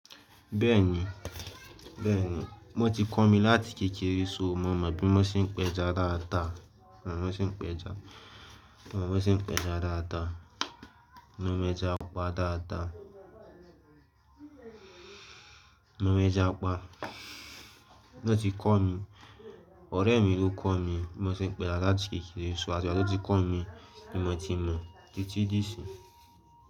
Bẹ́ẹ̀ni, bẹ́ẹ̀ni wọ́n ti kọ́ mi láti kékeré so mo mọ bí wón ṣe ń péja dáadáa, bí wón ṣe ń péja, bí wón ṣe ń péja dáadáa, mo mo ẹja pa dáadáa, mo mo ẹja pa. Wọ́n ti kọ́ mi, ọ̀rẹ́ mi ló kọ́ mi bí wón ṣe ń péja láti kékeré so àti gba to ti kọ́ mi bí mo ti mọ títí dí ìsìn.